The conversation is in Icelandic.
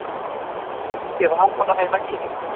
Þykir það bara í lagi.